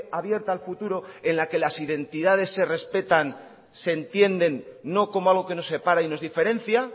abierta al futuro en la que las identidades se respetan se entienden no como algo que nos separa y nos diferencia